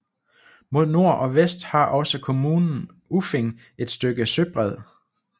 Mod nord og vest har også kommunen Uffing et stykke søbred